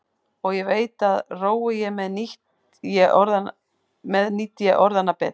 Og ég veit að rói ég með nýt ég orðanna betur.